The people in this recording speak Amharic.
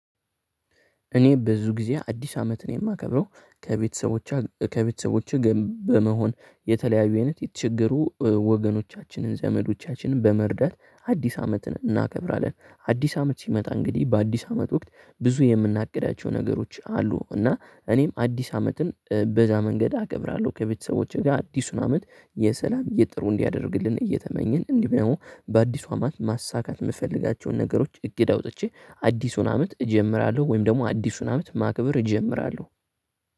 እኔ ብዙ ጊዜ አዲስ አመትን የማከብረው ከቤተሰቦች ከቤተሰቦቸጋ በመሆን የተለያዩ አይነት የተቸገሩ ወገኖቻችንን፣ ዘመዶቻችንን በመርዳት አዲስ አመትን እናከብራለን። አዲስ አመት ሲመጣ እንግዲህ በአዲስ አመት ወቅት ብዙ የምናግዳቸው ነገሮች አሉ እና እኔም አዲስ አመትን በዛ መንገድ አከብራለሁ። ከቤተሰቦቼ ጋር አዲሱን አመት የሰላም የጥሩ እንዲያደርግልን እየተመኘን እንዲሁም ደግሞ በአዲሱ አመት ማሳካት የምፈልጋቸውን ነገሮች እግድ አውጥቼ አዲሱን አመት እጀምራለሁ ወይም ደግሞ አዲሱን አመት ማክብር እጀምራለሁ።